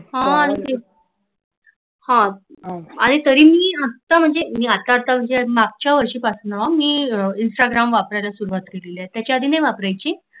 हा हा आणि तरी मी अत्ता म्हंजे आता आता म्हणजे आत्त्तापासुनच म्हणजे मागच्या वर्षी पासन मी ईंस्टाग्राम वापरायला सुरुवात केली आहे त्याच्या आधी नाही वापरायची